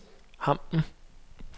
Hampen